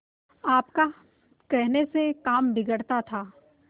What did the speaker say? आपका कहने से काम बिगड़ता था